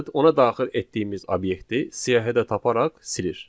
Bu metod ona daxil etdiyimiz obyekti siyahıda taparaq silir.